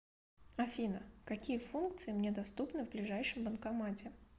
афина какие функции мне доступны в ближайшем банкомате